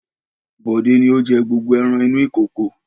Bọ̀dé ni ó jẹ gbogbo ẹran inú ìkòkò.